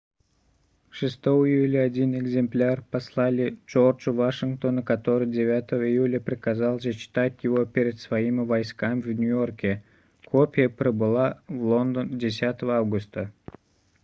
6 июля один экземпляр послали джорджу вашингтону который 9 июля приказал зачитать его перед своими войсками в нью-йорке копия прибыла в лондон 10 августа